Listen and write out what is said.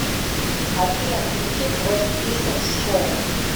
афина включи квест пистолс шоу